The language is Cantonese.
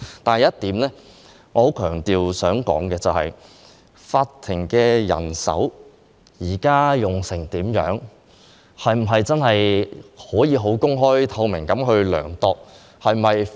但是，我想強調一點，法庭現時人手的情況，是否可以公開透明地量度？